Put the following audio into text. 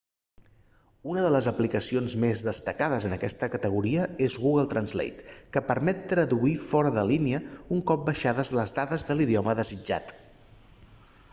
una de les aplicacions més destacades en aquesta categoria és google translate que permet traduir fora de línia un cop baixades les dades de l'idioma desitjat